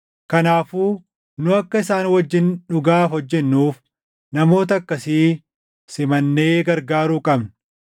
Kanaafuu nu akka isaan wajjin dhugaaf hojjennuuf namoota akkasii simannee gargaaruu qabna.